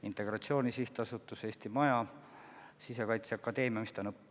Integratsiooni Sihtasutus, Eesti Maja, Sisekaitseakadeemia – mis ta on?